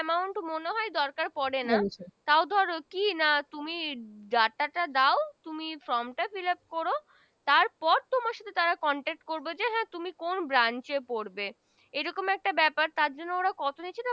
মনে হয় দরকার পরে না তাও ধর কি না তুমি Data টা দাও তুমি From Fill up করো তার পর তোমার সাথে তারা Contact করবে যে তুমি কোন Branch এ পরবে এই রকম একটা ব্যাপার তার জন্য